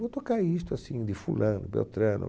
Vou tocar isto assim de fulano, beltrano.